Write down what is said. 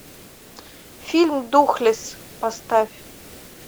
фильм духлесс поставь